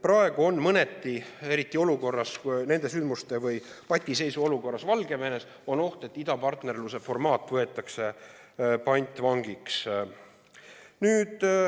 Praegu on mõneti oht, eriti sündmuste tõttu või patiseisu olukorras Valgevenes, et idapartnerluse formaat võetakse pantvangiks.